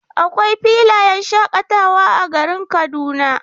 Akwai filayen shaƙatawa a garin Kaduna.